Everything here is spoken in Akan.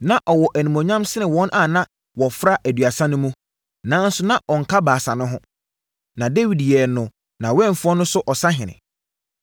Na ɔwɔ animuonyam sene wɔn a na wɔfra Aduasa no mu, nanso na ɔnka Baasa no ho. Na Dawid yɛɛ no nʼawɛmfoɔ no so ɔsahene.